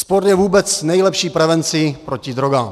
Sport je vůbec nejlepší prevencí proti drogám.